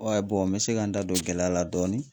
n bɛ se ka n da don gɛlɛya la dɔɔni